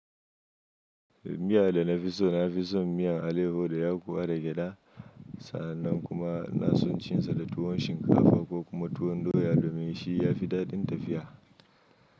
Miya da na fi so na fi son miyan aleho da yakuwa da gyada. Sa'annan kuma ina son cin sa da tuwon shinkafa ko kuma tuwon doya domin shi ya fi daɗin tafiya.